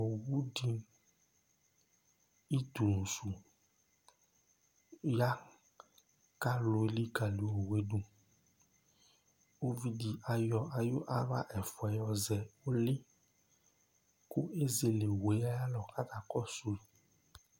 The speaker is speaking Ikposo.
Owu di, ʋtu su ya kʋ alu elikali owu du Ʋvidí ayɔ ayʋ aɣla ɛfʋa yɔzɛ ʋli kʋ ezele owu ye ayʋ alɔ kʋ akakɔsu